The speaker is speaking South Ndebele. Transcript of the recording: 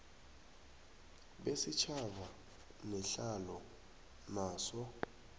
besitjhaba nehlalo yaso